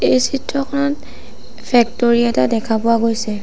এই চিত্ৰখনত ফেক্ট'ৰী এটা দেখা পোৱা গৈছে।